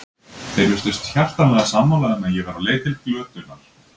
Þeir virtust hjartanlega sammála um að ég væri á leið til glötunar.